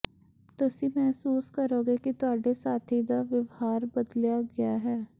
ਤੁਸੀਂ ਮਹਿਸੂਸ ਕਰੋਗੇ ਕਿ ਤੁਹਾਡੇ ਸਾਥੀ ਦਾ ਵਿਵਹਾਰ ਬਦਲਿਆ ਗਿਆ ਹੈ